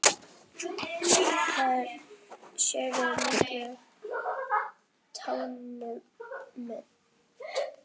Það séu mikil tímamót.